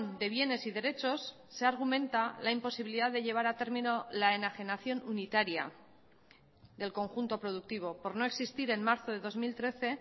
de bienes y derechos se argumenta la imposibilidad de llevar a término la enajenación unitaria del conjunto productivo por no existir en marzo de dos mil trece